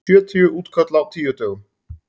Sjötíu útköll á tíu dögum